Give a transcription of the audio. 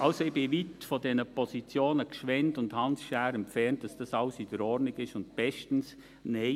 Also, ich bin weit von den Positionen Gschwend und Hans Schär entfernt, dass das alles in Ordnung und bestens sei.